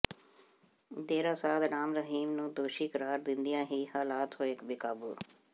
ਡੇਰਾ ਸਾਧ ਰਾਮ ਰਹੀਮ ਨੂੰ ਦੋਸ਼ੀ ਕਰਾਰ ਦਿੰਦਿਆਂ ਹੀ ਹਾਲਾਤ ਹੋਏ ਬੇਕਾਬੂ